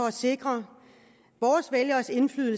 at sikre